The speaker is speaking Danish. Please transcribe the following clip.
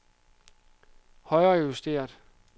højrejusteret